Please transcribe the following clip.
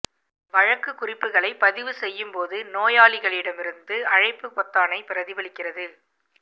வழக்கு குறிப்புகளை பதிவு செய்யும் போது நோயாளிகளிடமிருந்து அழைப்பு பொத்தானைப் பிரதிபலிக்கிறது